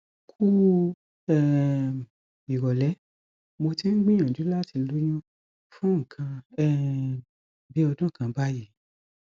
kuh um ìrọlẹ mo ti ń gbìyànjú láti lóyún fún nǹkan um bí ọdún kan báyìí